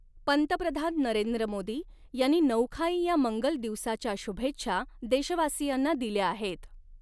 पंतप्रधान नरेंद्र मोदी यांनी नऊखाई या मंगल दिवसाच्या शुभेच्छा देशवासीयांना दिल्या आहेत.